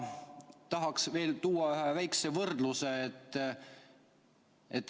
Tahaks tuua veel ühe väikese võrdluse.